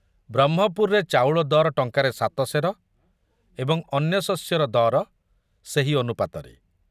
ବ୍ରହ୍ମପୁରରେ ଚାଉଳ ଦର ଟଙ୍କାରେ ସାତ ସେର ଏବଂ ଅନ୍ୟ ଶସ୍ୟର ଦର ସେହି ଅନୁପାତରେ।